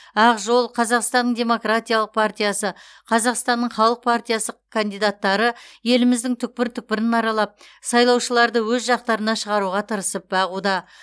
ақ жол қазақстанның демократиялық партиясы қазақстанның халық партиясы кандидаттары еліміздің түкпір түкпірін аралап сайлаушыларды өз жақтарына шығаруға тырысып бағуда